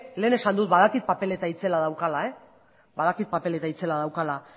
lehen esan dut badakit papeleta itzela daukala badakit papeleta itzela daukala